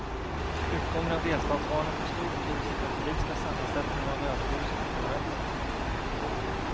Utgången av delstatsvalen får stor betydelse för den politiska sammansättningen av överhuset i parlamentet.